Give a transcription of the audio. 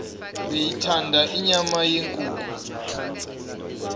beyithanda inyama yenkukhu